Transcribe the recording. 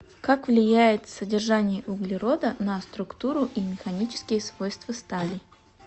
как влияет содержание углерода на структуру и механические свойства стали